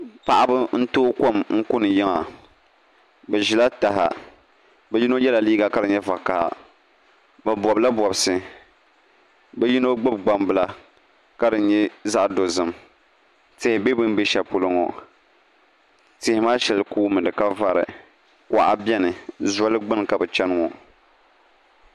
Paɣaba n tooi kom kuni yiŋa bi ʒirila taha bi yino yɛla liiga ka di nyɛ vakaha bi bobla bobsi bi yino gbubi gbambila ka di nyɛ zaɣ dozim tihi bɛ bi ni bɛ shɛli polo ŋo tihi maa shɛli kuumi di ka vari kuɣa biɛni zoli gbuni ka bi chɛni ŋo